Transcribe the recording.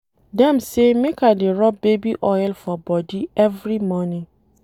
Dem say make I dey rob baby oil for bodi every morning.